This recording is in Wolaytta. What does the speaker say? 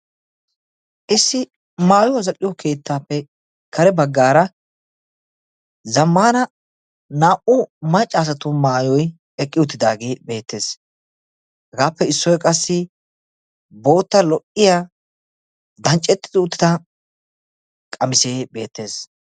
Issi maayuwa zal'o keettape kare baggaara zammana naa'u maccaa asatu maayoy eqqi uttidagee beetees. Hegappe issoy qassi bootta lo'iyaa dancceti uttidage beetees.